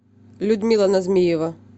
людмила назмиева